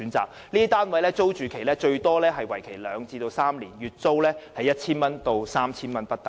這些單位的租住期最長為兩至三年，月租由 1,000 多元至 3,000 元不等。